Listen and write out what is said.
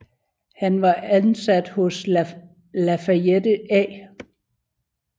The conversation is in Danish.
Han var ansat hos Lafayette A